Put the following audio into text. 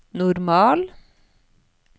normal